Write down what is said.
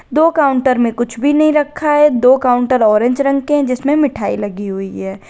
दो काउंटर में कुछ भी नहीं रखा है दो काउंटर ऑरेंज रंग के जिसमें मिठाई लगी हुई है।